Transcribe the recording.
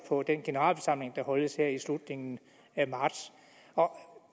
på den generalforsamling der holdes her i slutningen af marts